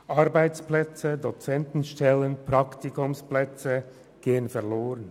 Arbeitsplätze, Dozentenstellen, Praktikumsplätze gehen verloren.